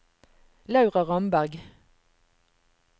Laura Ramberg